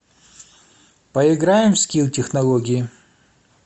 поиграем в скилл технологии